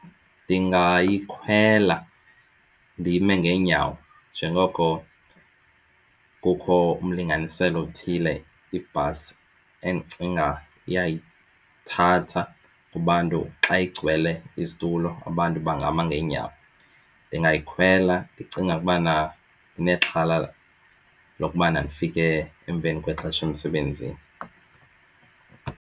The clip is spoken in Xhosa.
Ndingayikholelwa ndime ngeenyawo njengoko kukho umlinganiselo othile ibhasi endicinga iyayithatha kubantu xa igcwele izitulo abantu bangama ngeenyawo. Ndingayikhwela ndicinga ukubana ndinexhala lokubana ndifike emveni kwexesha emsebenzini.